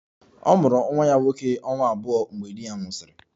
Ọ mụrụ nwa ya nwoke ọnwa abụọ mgbe di ya nwụsịrị